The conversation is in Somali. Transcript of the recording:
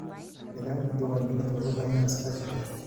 Nidaamka diiwaangelintu wuxuu u baahan yahay iskaashi bulsho.